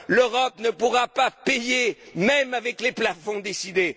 l'Europe ne pourra pas payer, même avec les plafonds décidés.